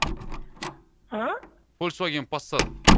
ааа фольксваген пассат